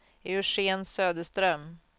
Eugén Söderström